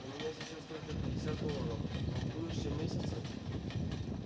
у меня сейчас только пятьдесят долларов но в будущем месяце